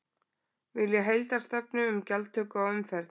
Vilja heildarstefnu um gjaldtöku á umferð